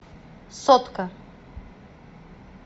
сотка